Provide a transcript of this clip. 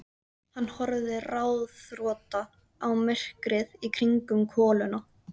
Hann horfði ráðþrota á myrkrið í kringum koluna.